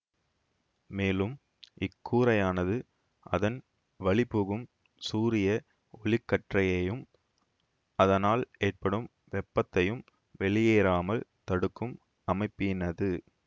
மேலும் இக்கூரையானது அதன் வழி புகும் சூரிய ஒளிக்கற்றையையும் அதனால் ஏற்படும் வெப்பத்தையும் வெளியேறாமல் தடுக்கும் அமைப்பினது